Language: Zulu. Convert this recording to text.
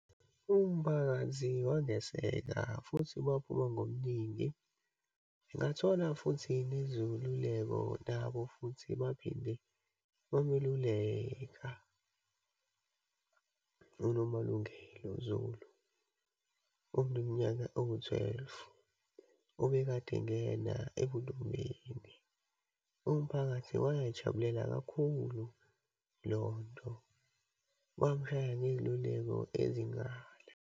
Umphakathi wangaseke, futhi waphuma ngobuningi, ngathola futhi nezeluleko. Nabo futhi baphinde bameluleka uNomalungelo Zulu, oneminyaka engu-twelve, obekade engena ebuntombini. Umphakathi wayijabulela kakhulu lonto, wamshaya ngeyiluleko ezinqala.